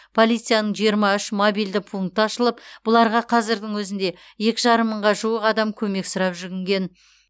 полицияның жиырма үш мобильді пункті ашылып бұларға қазірдің өзінде екі жарым мыңға жуық адам көмек сұрап жүгінген